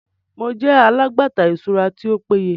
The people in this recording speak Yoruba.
Mo jẹ alagbata iṣura ti o peye